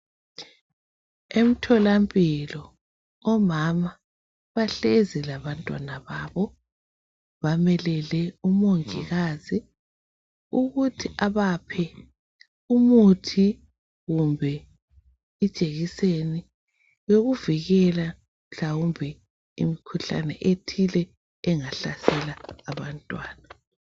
Emthola mpilo omama bahlezi labantwana babo bamelele umongikazi ukuthi abaphe umuthi kumbe ijekiseni yokuvikela mhlawumbe imikhuhlane ethile engahlasela abantwana.